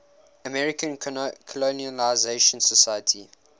american colonization society